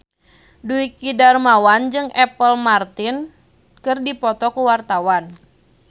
Dwiki Darmawan jeung Apple Martin keur dipoto ku wartawan